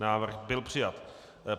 Návrh byl přijat.